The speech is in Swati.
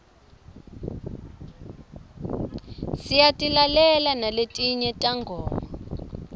siyatilalela naletinye tingoma